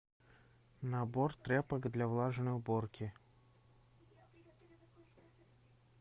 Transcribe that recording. набор тряпок для влажной уборки